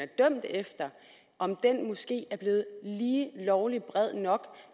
er dømt efter måske er blevet lige lovlig bred nok